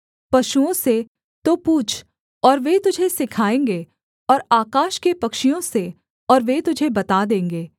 पशुओं से तो पूछ और वे तुझे सिखाएँगे और आकाश के पक्षियों से और वे तुझे बता देंगे